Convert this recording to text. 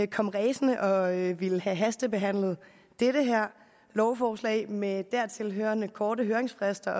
kom ræsende og ville have hastebehandlet det her lovforslag med dertil hørende korte høringsfrister